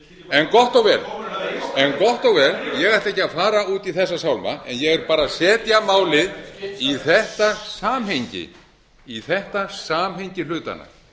en gott og vel en gott og vel ég ætla ekki að fara út í þessa sálma en ég er bara að setja málið í þetta samhengi í þetta samhengi hlutanna